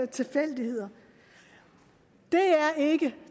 tilfældigheder det er ikke